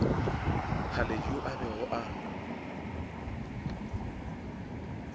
haledi yo a bego a